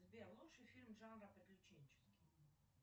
сбер лучший фильм жанра приключенческий